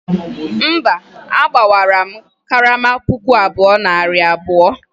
mba, agbawaram karama puku abụọ na narị abụọ